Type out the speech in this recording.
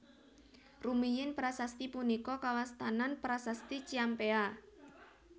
Rumiyin prasasti punika kawastanan Prasasti Ciampea